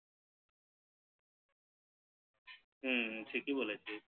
হু ঠিকই বলেছিস